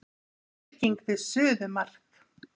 Samfylking við suðumark